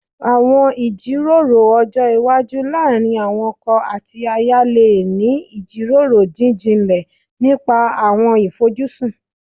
Àwọn ìjíròrò ọjọ́ iwájú láàárín àwọn ọkọ àti aya lè ní ìjíròrò jíjinlẹ̀ nípa àwọn ìfojúsùn